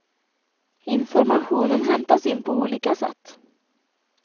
Informationen hämtas in på olika sätt.